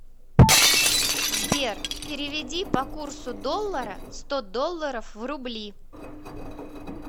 сбер переведи по курсу доллара сто долларов в рубли